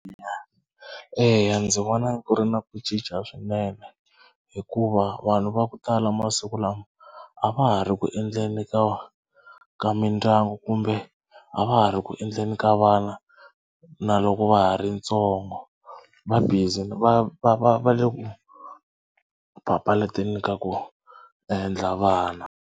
Eya ndzi vona ku ri na ku cinca swinene hikuva vanhu va ku tala masiku lama a va ha ri ku endleni ka ka mindyangu kumbe a va ha ri ku endleni ka vana na loko va ha ri ntsongo va busy va va va va le ku papalateni ka ku endla vana.